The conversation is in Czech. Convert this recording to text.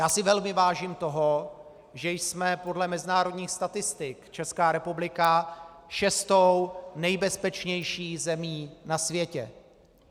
Já si velmi vážím toho, že jsme podle mezinárodních statistik, Česká republika, šestou nejbezpečnější zemí na světě.